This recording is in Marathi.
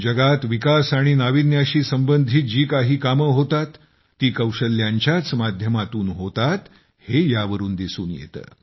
जगात विकास आणि नाविन्याशी संबंधित जी काही कामे होतात ती कौशल्यांच्याच माध्यमातून होतात हे यावरून दिसून येते